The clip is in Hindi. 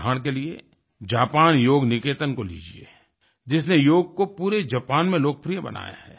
उदाहरण के लिए जापान योग निकेतन को लीजिए जिसने योग कोपूरे जापान में लोकप्रिय बनाया है